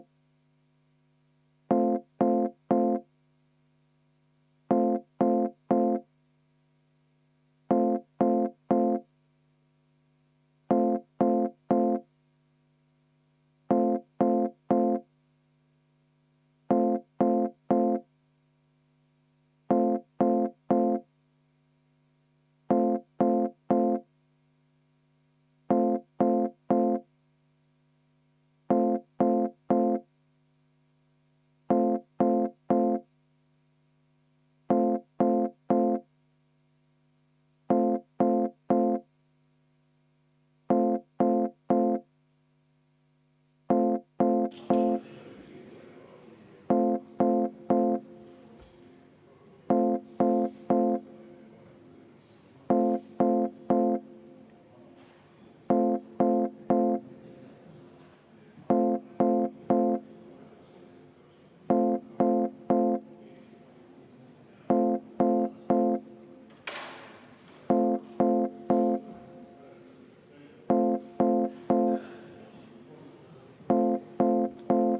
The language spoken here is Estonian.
V a h e a e g